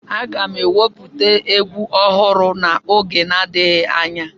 Aga m ewepụta egwu ọhụrụ n'oge na-adịghị anya